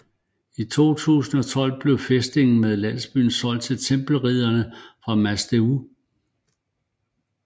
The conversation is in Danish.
I 1211 blev fæstningen med landsby solgt til Tempelridderne fra Mas Deu